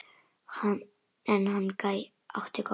En hann átti gott.